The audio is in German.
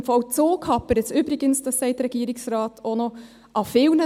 Mit dem Vollzug hapert es übrigens, wie der Regierungsrat sagt, an vielen Orten.